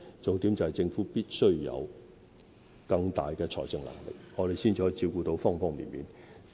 重點是政府必須有更大的財政能力，才可以照顧方方面面。